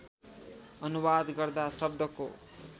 अनुवाद गर्दा शब्दको